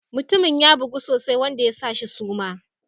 Mutumin ya bugu sosai wanda ya shi suma.